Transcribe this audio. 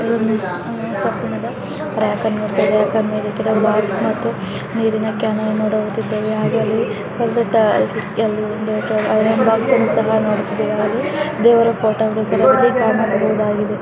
ಅಲ್ಲಿ ಕಬ್ಬಿಣದ ರಾಪ್ಪೆರ್ ಅನ್ನು ಇಟ್ಟಿದ್ದಾರೆ ಇಲ್ಲಿ ಕಬ್ಬಿಣದ ಬಾಕ್ಸ್ ಅನ್ನು ನೋಡುತ್ತಿದ್ದೇವೆ ನೀರಿನ ಕ್ಯಾನ್ ಅನ್ನು ನೋಡುತ್ತಿದ್ದೇವೆ ಹಾಗೆ ಐರನ್ ಬಾಕ್ಸ್ ಅನ್ನು ಕಾಣಬಹುದು ಹಾಗೆ ದೇವರ ಫೋಟೋ ವನ್ನು ಕಾಣಬಹುದಾಗಿದೆ.